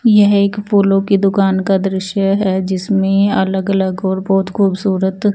यह एक फूलो की दूकान का दृश्य है जिसमे अलग अलग और बोहोत खुबसूरत --